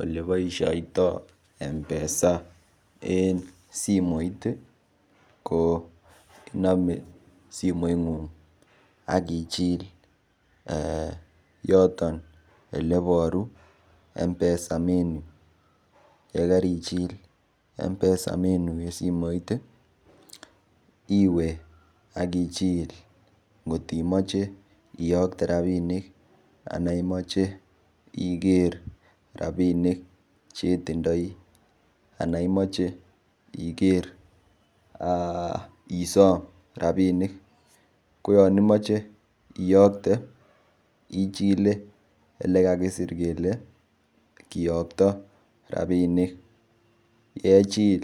Oleboishaitoi mpesa en simoit ko inome simoit ng'ung' akochil yoton oleboru mpesa menu yekarichil mpesa menu eng' simoit iwe akichil ngotimoche iyokte ropinik anan imoche ikere ropinik chetindoi ana imoche ikere isom rapinik ko yon imoche iyokte ichile ole kakisir kole kiyokto rapinik kechil